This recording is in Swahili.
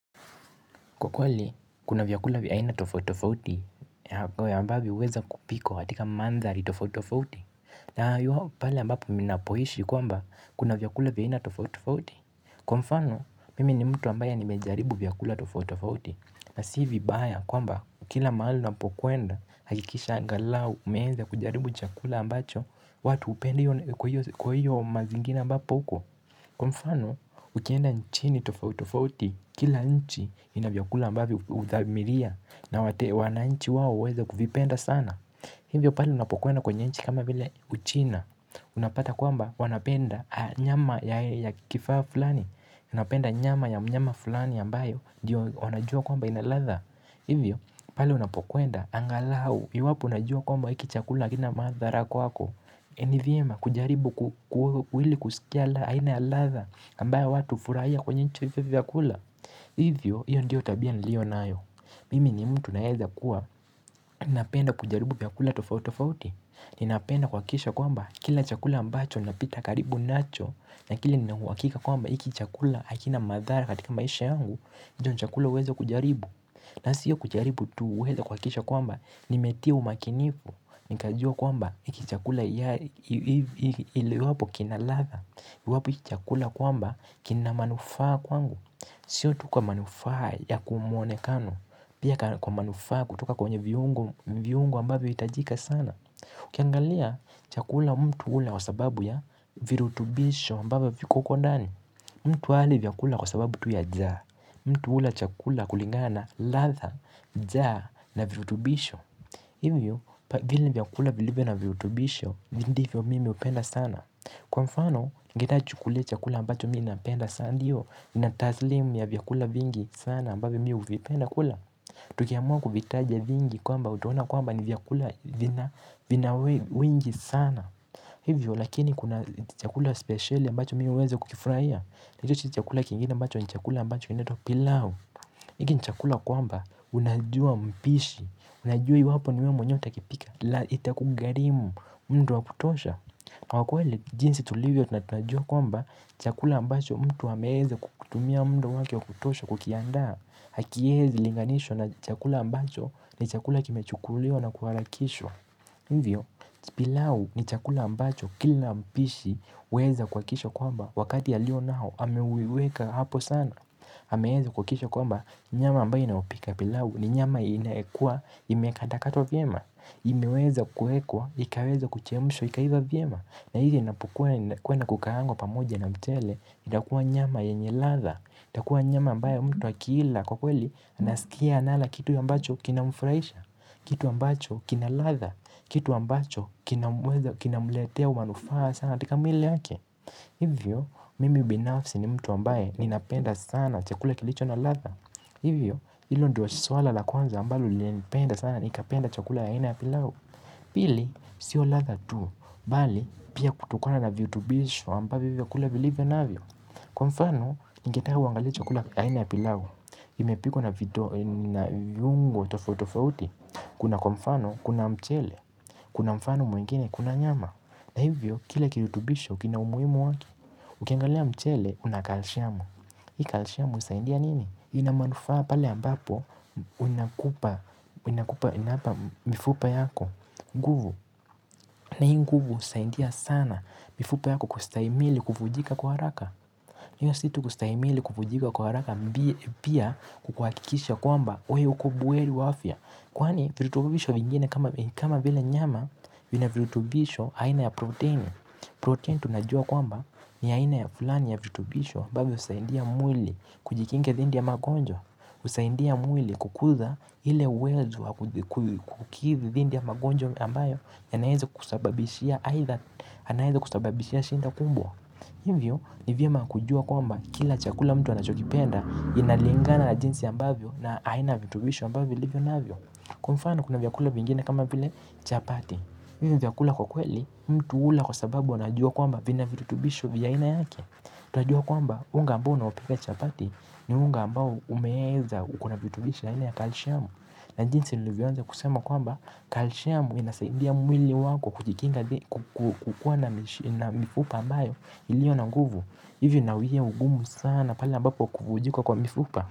Kwa kweli, kuna vyakula vya aina tofauti tofauti, ya ambayo huweza kupikwa katika mandhari tofauti tofauti. Na iwapo pale ambapo mnapoishi kwamba, kuna vyakula vya aina tofauti tofauti. Kwa mfano, mimi ni mtu ambaye nimejaribu vyakula tofauti tofauti. Na si vibaya kwamba, kila mahali unapokwenda, hakikisha angalau, umeweza kujaribu chakula ambacho, watu hupenda kwa hiyo mazingira ambapo uko. Kwa mfano, ukienda nchini tofauti tofauti, kila nchi ina vyakula ambavyo huthamiria. Na wananchi huweza kuvipenda sana. Hivyo pale unapokwenda kwenye nchi kama vile uchina. Unapata kwamba wanapenda nyama ya kifaa fulani. Unapenda nyama ya mnyama fulani ambayo ndiyo wanajua kwamba ina ladha. Hivyo pale unapokwenda, angalau iwapo unajua kwamba hiki chakula hakina madhara kwako. Ni vyema kujaribu ili kusikia aina ya ladha ambayo watu hufuraia kwenye nchi hivyo vyakula. Hivyo hiyo ndiyo tabia niliyo nayo. Mimi ni mtu naeza kuwa ninapenda kujaribu vyakula tofauti tofauti. Ninapenda kuhakikisha kwamba kila chakula ambacho napita karibu nacho lakini nina uhakika kwamba hiki chakula hakina madhara katika maisha yangu je ni chakula uweze kujaribu. Na siyo kujaribu tu huweza kuhakikisha kwamba nimetia umakinifu. Nikajua kwamba hiki chakula iwapo kina ladha. Iwapo hiki chakula kwamba kina manufaa kwangu. Sio tu kwa manufaa ya kumwonekano pia kwa manufaa ya kutoka kwenye viungo ambavyo huhitajika sana ukiangalia chakula mtu hula kwa sababu ya virutubisho ambavyo viko huko ndani. Mtu hali vyakula kwa sababu tu ya njaa. Mtu hula chakula kulingana na ladha, njaa na virutubisho. Hivyo, vile vyakula vilivyo na virutubisho, ndivyo mimi hupenda sana. Kwa mfano, ngeta chukulia chakula ambacho mimi napenda sana. Ndiyo, nina taslimu ya vyakula vingi sana ambayo mimi huvipenda kula. Tukiamua kuvitaja vingi kwamba utaona kwamba ni vyakula vina wingi sana hivyo, lakini kuna chakula speciali ambacho mimi huweza kukifurahia. Na hicho ni chakula kingine ambacho ni chakula ambacho kinaitwa pilau. Hiki ni chakula kwamba unajua mpishi, unajua iwapo ni we mwenyewe utakipika na itakugharimu muda wa kutosha. Na kwa kweli jinsi tulivyo tunatunajua kwamba chakula ambacho mtu ameweza kutumia muda wake wa kutosha kukiandaa hakiwezi linganishwa na chakula ambacho ni chakula kimechukuliwa na kuharakishwa. Hivyo, pilau ni chakula ambacho kila mpishi huweza kuhakikisha kwamba wakati alio nao ameuweka hapo sana. Ameweza kuhakikisha kwamba nyama ambayo inayopika pilau ni nyama inayokuwa imekata katwa vyema. Imeweza kuwekwa, ikaweza kuchemshwa, ikaiva vyema. Na hivi inapukuwa na kukaangwa pamoja na mchele, inakuwa nyama yenye ladha. Itakuwa nyama ambayo mtu akiila kwa kweli, anasikia anala kitu ambacho kinamfurahisha. Kitu ambacho kina ladha, kitu ambacho kinamletea manufaa sana, katika mwili yake. Hivyo, mimi binafsi ni mtu ambaye ninapenda sana chakula kilicho na latha. Hivyo, hilo ndio suala la kwanza ambalo lilinipenda sana nikapenda chakula ya aina ya pilau. Pili, sio ladha tu, bali pia kutokana na virutubisho ambavyo hivyo vyakula vilivyo navyo. Kwa mfano, ningetaka uangale chakula aina ya pilau. Imepikwa na viungo tofauti tofauti. Kuna kwa mfano, kuna mchele, kuna mfano mwingine, kuna nyama. Na hivyo, kila kirutubisho, kina umuhimu wakieUkiangalia mchele, una kalshiamu. Hii kalshiamu husaidia nini? Ina manufaa pale ambapo, unakupa, unakupa, inapa, mifupa yako, nguvu. Na hii nguvu husaidia sana, mifupa yako kustahimili kuvunjika kwa haraka. Hiyo si tu kustahimili kuvunjika kwa haraka, pia kukuhakikisha kwamba, we uko buheri wa afya. Kwani virutubisho vingine kama vile nyama vina virutubisho aina ya protein. Protein tunajua kwamba ni aina ya fulani ya virutubisho ambavyo husaidia mwili kujikingia dhidi ya magonjwa. Husaidia mwili kukuza ile uwezo wa kukidhi dhidi ya magonjwa ambayo yanaweza kusababishia shida kubwa. Hivyo ni vyema kujua kwamba kila chakula mtu anachokipenda. Inalingana la jinsi ambavyo na aina ya virutubisho ambavyo vilivyo navyo. Kwa mfano kuna vyakula vingine kama vile chapati. Hivyo ni vyakula kwa kweli mtu hula kwa sababu anajua kwamba vina virutubisho vya aina yake. Tunajua kwamba unga ambao unaopika chapati ni unga ambao umeweza uko na virutubisho aina ya kalshamu. Na jinsi nilivyoanza kusema kwamba kalshamu inasaidia mwili wako kukukua na mifupa ambayo iliyo na nguvu. Hivyo inauwia ugumu sana pale ambapo kuvunjika kwa mifupa.